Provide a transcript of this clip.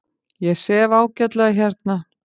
Ég sef ágætlega hérna.